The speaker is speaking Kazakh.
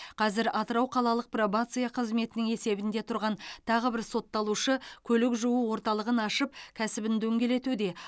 қазір атырау қалалық пробация қызметінің есебінде тұрған тағы бір сотталушы көлік жуу орталығын ашып кәсібін дөңгелетуде